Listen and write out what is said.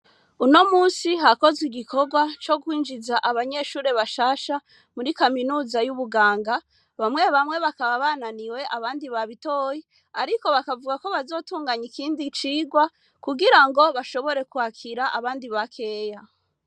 Uno munsi hakozwe igikorwa co kwinjiza abanyeshure bashasha muri kaminuza yubuganga bamwe bamwe bakaba bananiwe abandi babitoye ariko bakavugako bazotunganya ikindi cigwa kugirango bashobore kwakira abandi bakeya.